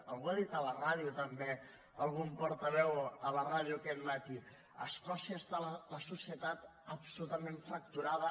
algú ho ha dit a la ràdio també algun portaveu a la ràdio aquest matí a escòcia està la societat absolutament fracturada